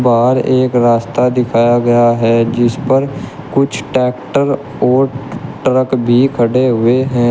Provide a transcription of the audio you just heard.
बाहर एक रास्ता दिखाया गया है जिस पर कुछ ट्रैक्टर और ट्रक भी खड़े हुए हैं।